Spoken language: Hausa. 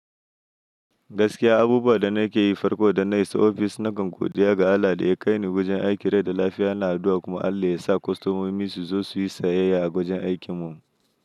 Gaskiya abubuwan da nake yi farko idan na isa ofis na kan godiya ga Allah da ya kai ni wajen aiki, rai da lafiya, ina addu'a kuma Allah ya sa kostomomi su zo su yi sayayya a wajen aikinmu.